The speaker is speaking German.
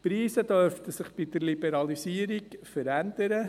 Die Preise dürften sich bei der Liberalisierung verändern: